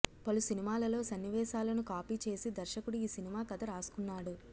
పలు సినిమాలలో సన్నివేశాలను కాపీ చేసి దర్శకుడు ఈ సినిమా కథ రాసుకున్నాడు